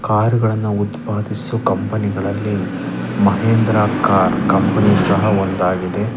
ಕಾರುಗಳನ್ನು ಉತ್ಪಾದಿಸುವ ಕಂಪೆನಿಗಳ ಮಹೇಂದ್ರ ಕಾರ್ ಕಂಪೆನಿ ಸಹ ಒಂದಾಗಿದೆ .